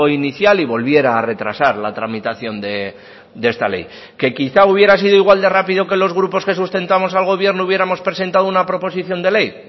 inicial y volviera a retrasar la tramitación de esta ley qué quizá hubiera sido igual de rápido que los grupos que sustentamos al gobierno hubiéramos presentado una proposición de ley